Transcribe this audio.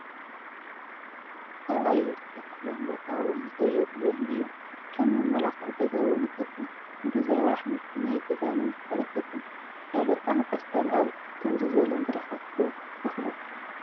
ኣብ ኣየር ዝተተኸለን ቦታ ውን ዘየድልዮን እዩ፡፡ ከም መመላኽዒ ገዛ ውን ይጠቅም፣ ንጊዚያዊ ኣሕምልቲ ናይ ገዛ ንምትካል ይጠቅም፡፡ ሰላጣን ቆስጣን ኣብ ከምዚ ዝበለ መድረኻት ዶ ክትተኽሉ?